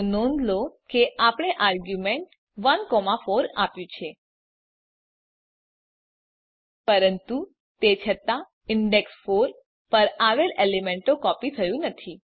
નોંધ લો કે આપણે આર્ગ્યુમેંટ તરીકે ૧ ૪ આપ્યું છે પરંતુ તે છતાં ઇંડેક્ષ ૪ પર આવેલ એલિમેન્ટ કોપી થયું નથી